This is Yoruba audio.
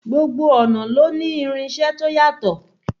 Gbogbo ọnà ló ní irinṣẹ́ to yàtọ̀.